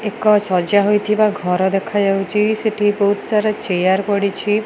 ଏକ ସଜା ହୋଇଥିବା ଘର ଦେଖାଯାଉଛି ସେଠି ବହୁତ୍ ସାରା ଚେୟାର ପଡିଛି।